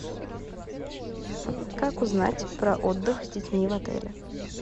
как узнать про отдых с детьми в отеле